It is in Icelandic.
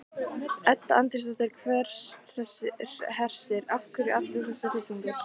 Edda Andrésdóttir: Hersir, af hverju allur þessi hryllingur?